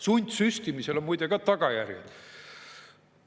Sundsüstimisel on muide ka tagajärjed.